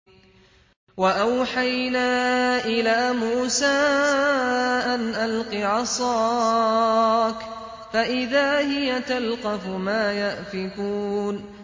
۞ وَأَوْحَيْنَا إِلَىٰ مُوسَىٰ أَنْ أَلْقِ عَصَاكَ ۖ فَإِذَا هِيَ تَلْقَفُ مَا يَأْفِكُونَ